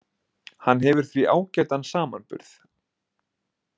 Hann hefur því ágætan samanburð